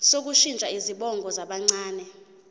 sokushintsha izibongo zabancane